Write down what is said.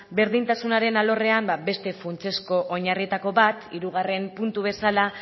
berdintasunaren alorrean ba beste funtsezko oinarrietariko bat hirugarren puntu bezala